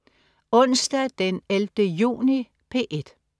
Onsdag den 11. juni - P1: